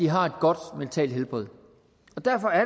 har et godt mentalt helbred og derfor er